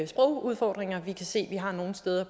sprogudfordringer vi kan se at vi har nogle steder